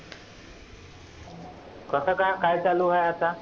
कस का काय चालु आहे आता?